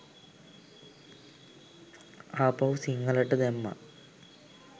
ආපහු සිංහලට දැම්මා